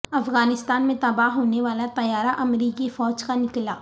افغانستان میں تباہ ہونےوالا طیارہ امریکی فوج کا نکلا